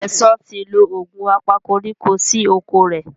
Sesan tí lọ Òògùn apakoríko sí okọ̀ rẹ.